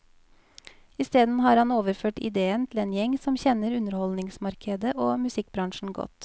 Isteden har han overført idéen til en gjeng som kjenner underholdningsmarkedet og musikkbransjen godt.